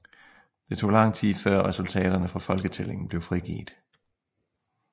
Det tog langt tid før resultaterne fra foketællingen blev frigivet